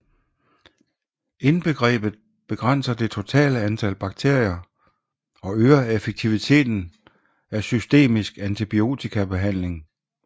Indgrebet begrænser det totale antal bakterier og øger effektiviteten af systemisk antibiotikabehandling